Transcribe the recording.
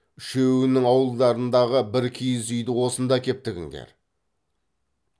үшеуінің ауылдарыңдағы бір киіз үйді осында әкеп тігіңдер